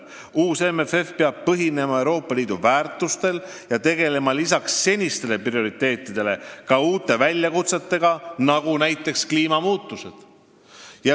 Uus MFF peab põhinema Euroopa Liidu väärtustel ja pidama silmas peale seniste prioriteetide ka uusi väljakutseid, näiteks seoses kliimamuutustega.